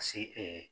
Ka se